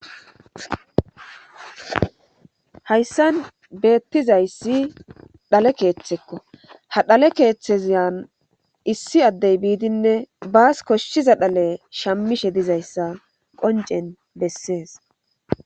Hayssan beettizayssi dhale keeththekko ha dhale keeththezyan issi addey biidinne baas koshshiza dhale shammishe dizayssa qoncen bessees.